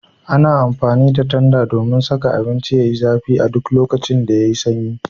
Ana amfani da tanda domin saka abinci Yayi zafi a duk lokacin da yayi sanyi